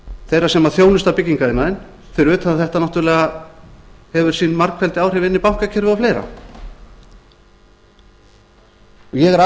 þeirra sem þjónusta byggingariðnaðinn fyrir utan að þetta hefur náttúrlega sín margfeldisáhrif inn í bankakerfið og fleira ég